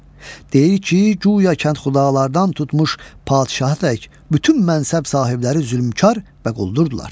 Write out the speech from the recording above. Deyir ki, guya kəndxudalardan tutmuş padşahə tək bütün mənşəb sahibləri zülmkar və quldurdular.